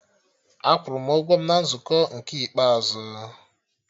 Akwụrụ m ụgwọ m na nzukọ nke ikpeazụ